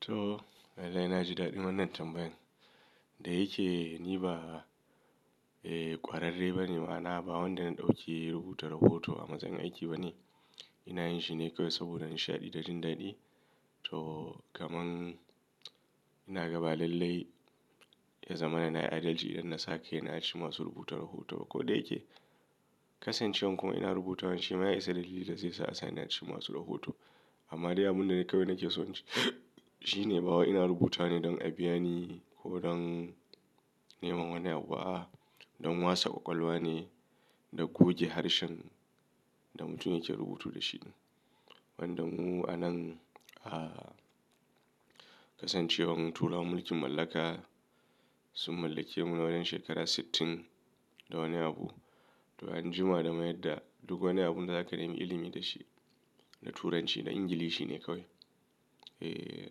To, dai na ji daɗin wannan tambayan da yake ni ba, eh ƙwararre ba ne ma'ana ba wanda na ɗauki rubuta rahot a matsayin aiki bane. Ina yin shi ne kawai saboda nishaɗi da jin daɗi. To, kaman ina ga ba lallai ya zama na na yi adalci idan na sa kaina a cikin masu rubuta rahoto ba. Ko da ya ke kasancewar kuma ina rubutan shi ma ya isa dalili da zai sa a sani a cikin ma su rubuta rahoto. Amma dai abunda kaiwa nake so na ce shi ne ba wai ina rubutawa ne don a biya ni ko don neman wani abu ba a'a, don wasa ƙwaƙwalwa ne da goge harshen da mutum yake rubutu da shi. Wanda mu anan a kasancewar mu turawan mulkin mallaka sun mallake mu na wajen shekara sittin da wani abu. To an jima da mayar da duk wani abinda za ka yi ilimi da shi da turanci da Ingilishi ne kawai. E,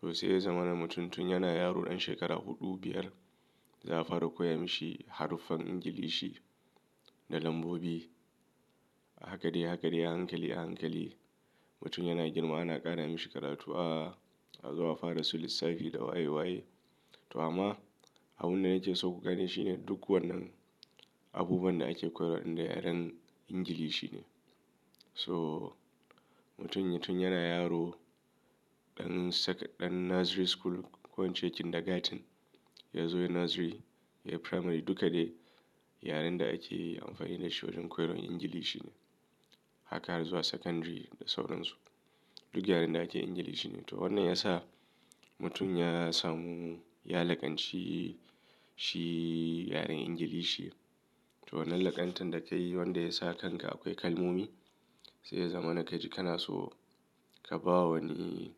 to sai ya zama na mutum tun yana yaro ɗan shekara huɗu, biyar za a fara koya mashi haruffan Ingilishi da lambobi. A haka dai a haka dai a hankali a hankali. Mutum yana girma ana ƙara mashi karatu a zuwa fara su lissafi da waye waye. To amma abunda na ke so ku gane shi ne duk wannan abubuwan da ake koyarwa da yaren Ingilishi ne. To mutum tun yana yaro ɗan Nursery school ko in ce kindergarten, ya zo Nursery, ya yi Primary duka dai yaren da ake amfani da shi wajen koyarwa Ingilishi ne. Haka har zuwa Secondary da sauran su. Duk yaren da ake Ingilishi ne. To wannan ya sa mutum ya samu ya laƙanci shi yaren Ingilishi. To wannan laƙantan da ka yi wanda ya sa kan ka akwai kalmomi sai ya zama na ka ji kana so ka ba wa wani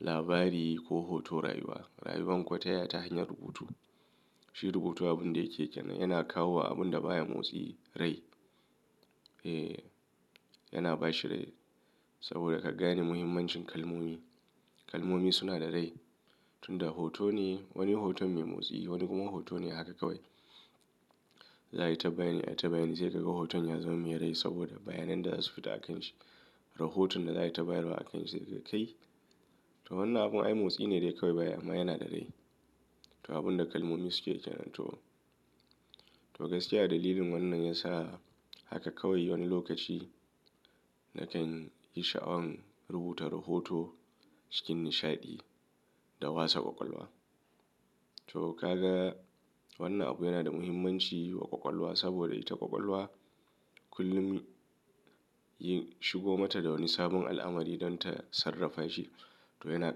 labari ko hoto rayuwa. Rayuwan kuwa ta ya ta hanyar rubutu. Shi rubutu abinda yake kenqn yana kawo wa abinda baya motsi rai. E, yana ba shi rai saboda ka gane muhimmancin kalmomi. Kalmomi suna da rai. Tun da hoto ne wani hoton mai motsi wani kuma hoto ne haka kawai. Za a yi tambaya ne a yi ta bayani sai ka ga hoton ya zama mai rai saboda bayanai da za su fita a kan shi. Rahoton da za a yi ta bayani a kan shi sai ka kai. To wannan abun ai motsi ne dai kawai ba ya yi amma yana da rai. To abunda kalmomi suke ke nan to, to gaskiya a dalilin wannan ya sa haka kawai wani lokaci nakan ji sha'awan rubuta rahoto cikin nishaɗi da wasa ƙwaƙwalwa. To ka ga wannan abu yana da muhimmanci wa ƙwaƙwalwa saboda ita ƙwaƙwalwa kullum yin shigo ma ta da wani sabon al'amari don ta sarrafa shi. To yana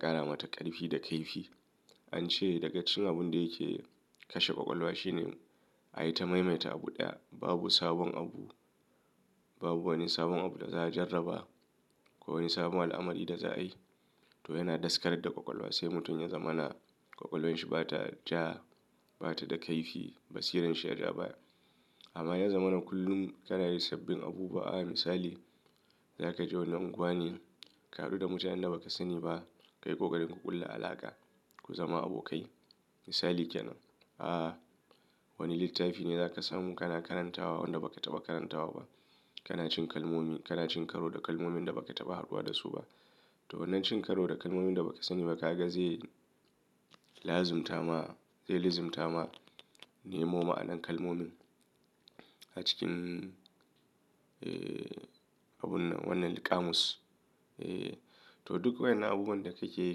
ƙara mata ƙarfi da kaifi. An ce da ga cikin abunda yake kashe ƙwaƙwalwa shine ai ta maimaita abu ɗaya. Babu sabon abu, babu wani sabon abu da za a jarraba ko wani sabon al'amari da za a yi. To yana daskar da ƙwaƙwalwa sai mutum ya zama na ƙwaƙwalwarshi bata ja, bata da kaifi, basiran shi ya ja baya. Amma ya zama na kullum kana yi sabbin abubuwa. A misali, za ka je wani unguwa ne ka haɗu da mutanen da ba ka sani ba. Ka yi ƙoƙarin ku ƙulla alaƙa, ku zama abokai. Misali ke nan. A wani littafi ne za ka samu kana karantawa wanda ba ka taɓa karantawa ba. Kana cin kalmomi, kana cin karo da kalmomin da ba ka taɓa haɗuwa da su ba. To wannan cin karo da kalmomin da baka sani ba ka ga zai lazimta ma, zai lizimta ma nemo ma'anan kalmomin a cikin, e, abun nan wannan liƙamus. E, to duk waƴannan abubuwan da kake yi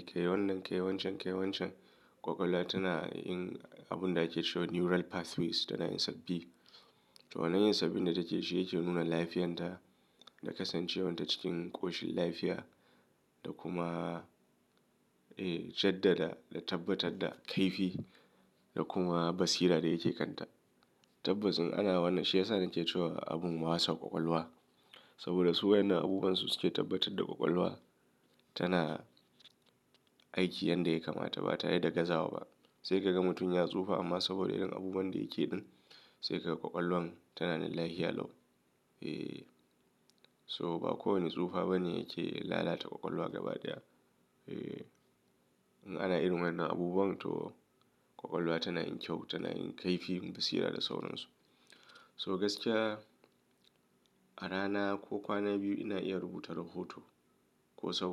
ka yi wannan kai wancan kai wancan ƙwaƙwalwa tana yin abunda ake cewa neural pathways tana yin sauƙi to wannan yin sabbin da take shi yake nuna lafiyanta da kasancewar ta cikin ƙoshin lafiya da kuma, jaddada da tabbatar da kaifi da kuma basira da yake kanta. Tabbas in ana wannan shi yasa nake cewa abun wasa ƙwaƙwalwa saboda su waƴannan abubuwan su suke tabbatar da ƙwaƙwalwa tana aiki yanda yake mata ba tare da gaza ba. Sai ka ga mutum ya tsufa amma saboda irin abubuwan da yake ɗin sai ka ga ƙwaƙwalwan tana da lafiya lau E, so ba kowane tsufa bane yake lalata ƙwaƙwalwa gaba ɗaya. E, in ana irin wannan abubuwan to ƙwaƙwalwa tana yin kyau, tana yin kaifi, basira da sauran su. To gaskiya a rana ko kwana biyu ina iya rubuta rahoto ko sauran.